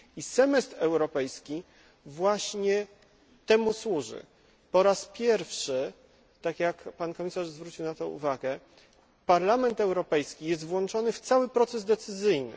Semestr europejski właśnie temu służy. Z jednej strony, po raz pierwszy, tak jak Pan Komisarz zwrócił na to uwagę, Parlament Europejski jest włączony w cały proces decyzyjny.